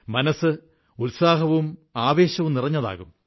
മനസ്സ് ഉത്സാഹവും ആവേശവും നിറഞ്ഞതാകും